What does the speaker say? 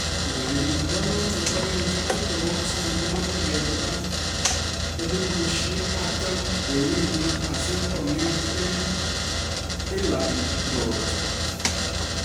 Urerenindonoton bo kenyisiek 23, komoche kelipan �40,000 en wigit asi kong'et en Elland Road.